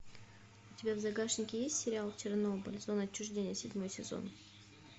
у тебя в загашнике есть сериал чернобыль зона отчуждения седьмой сезон